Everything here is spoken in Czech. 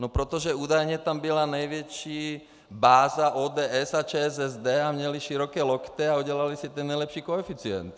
No protože údajně tam byla největší báze ODS a ČSSD a měly široké lokty a udělaly si ten nejlepší koeficient.